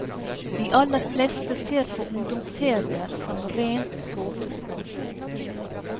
De aller fleste ser på ungdomsserier som rent såpeskum.